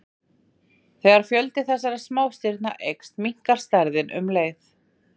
Þegar fjöldi þessara smástirna eykst, minnkar stærðin um leið.